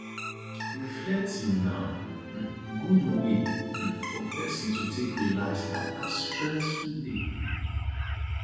reflecting na um good wey um for person to take relax after stressful day